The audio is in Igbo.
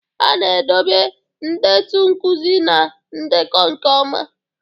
A na-edobe ndetu nkuzi na ndekọ nke ọma.